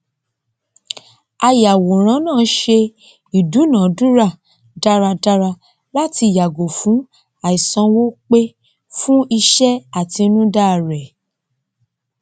àyàwòrán náà se ìdúnàádúrà dáradára láti yàgò fún àìsanwó pe fún iṣẹ àtinúdá rẹ